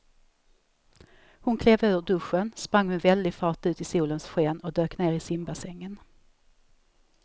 Hon klev ur duschen, sprang med väldig fart ut i solens sken och dök ner i simbassängen.